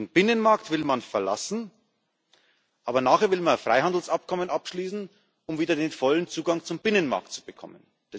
Den Binnenmarkt will man verlassen, aber nachher will man ein Freihandelsabkommen abschließen, um wieder den vollen Zugang zum Binnenmarkt zu bekommen.